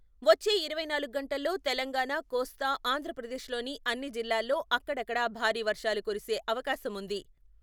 వచ్చే ఇరవై నాలుగు గంటల్లో తెలంగాణా, కోస్తా ఆంధ్రప్రదేశ్ లోని అన్ని జిల్లాల్లో అక్కడక్కడ భారీ వర్షాలు కురిసే అవకాశముంది.